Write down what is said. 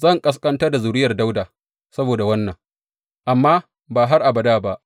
Zan ƙasƙantar da zuriyar Dawuda saboda wannan, amma ba har abada ba.’